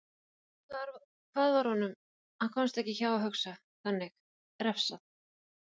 Fyrir hvað var honum- hann komst ekki hjá að hugsa þannig- refsað?